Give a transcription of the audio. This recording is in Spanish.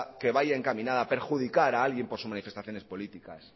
que vaya encaminada a perjudicar a alguien por sus manifestaciones políticas